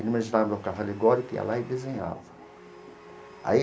Ele imaginava um carro alegórico, ia lá e desenhava aí.